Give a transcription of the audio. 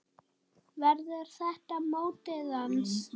Verður þetta mótið hans?